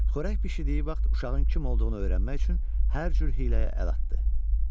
Xörək bişirdiyi vaxt uşağın kim olduğunu öyrənmək üçün hər cür hiləyə əl atdı.